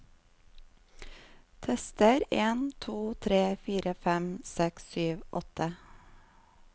Tester en to tre fire fem seks sju åtte